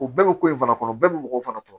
U bɛɛ bɛ ko in fana kɔnɔ bɛɛ bɛ mɔgɔw fana tɔkɔ